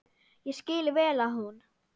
Ég skil vel að hún.